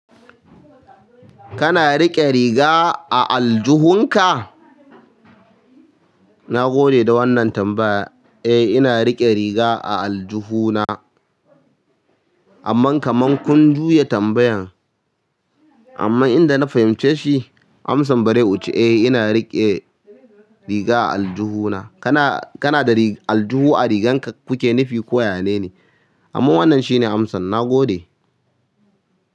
Kana riƙe riga a aljihunka? Na gode da wannan tambaya. Eh ina riƙe riga a aljihu na. Amma kaman kun juya tambayan. Amma idan na fahimci shi, amsan bare uce eh ina riƙe riga a aljihu na. Kana, kana da aljihu a rigan ka kuke nifi ko ya ya ne ne amma wannan shine amsan. Na gode.